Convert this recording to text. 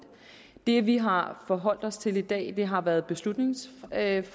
det vi har forholdt os til i dag har været beslutningsforslaget